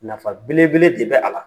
Nafa belebele de bɛ a la.